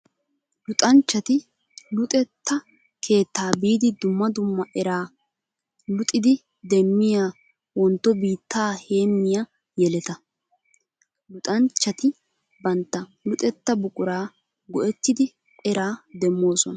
Luxanchchatti luxetta keetta biidi dumma dumma era luxiddi demiya wontto biitta heemiya yeletta. luxanchchatti bantta luxetta buqura go'ettiddi eraa demosonna.